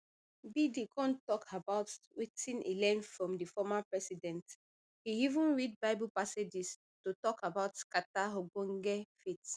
biden kon tok about wetin e learn from di former president e even read bible passages to tok about carter ogbonge faith